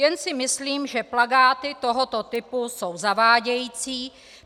Jen si myslím, že plakáty tohoto typu jsou zavádějící.